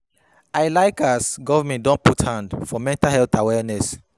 I like as government don put hand for mental health awareness.